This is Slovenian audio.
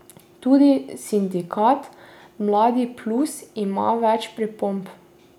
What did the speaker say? Tudi sindikat Mladi Plus ima več pripomb.